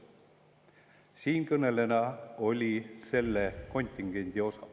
Siinkõneleja kuulus samuti selle kontingenti.